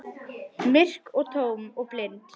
Myrk og tóm og blind.